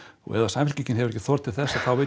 ef Samfylkingin hefur ekki þor til þess þá veit